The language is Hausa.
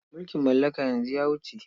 Mulkin mallaka yanzu ya wuce.